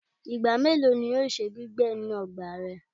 Igba melo ni o ṣe gbigbẹ ninu ọgba rẹ?